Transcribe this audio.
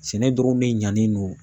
Sɛnɛ dɔrɔn ne ɲanen no